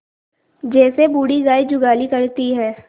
जैसे बूढ़ी गाय जुगाली करती है